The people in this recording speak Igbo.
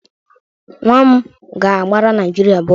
Nwa m ga-agbara Naịjirịa bọọlụ.